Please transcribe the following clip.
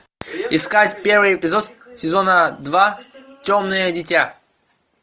искать первый эпизод сезона два темное дитя